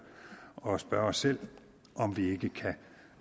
og spørge os selv om vi ikke kan